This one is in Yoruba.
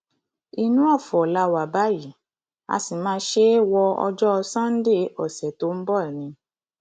inú ọfọ la wà báyìí a sì máa ṣe é wo ọjọ sannde ọsẹ tó ń bọ ni